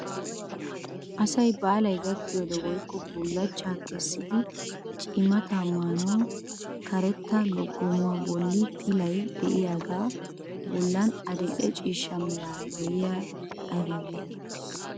Asay baalay gakkiyoode woykko bullachchaa keessidi cimataa maanawu karetta loggomuwaa bolli pilay de'iyaagaa bollan adil'e ciishsha meraara de'iyaagee ayba getettii?